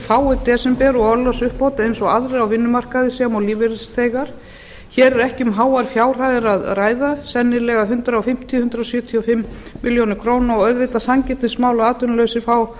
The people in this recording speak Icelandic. fái desember og orlofsuppbót eins og aðrir á vinnumarkaði sem og lífeyrisþegar hér er ekki um háar fjárhæðir að ræða sennilega hundrað fimmtíu hundrað sjötíu og fimm milljónir króna og auðvitað sanngirnismál